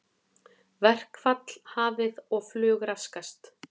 Verkfall hafið og flug raskast